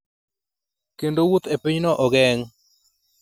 kendo wuoth ​​e pinyno ogeng’.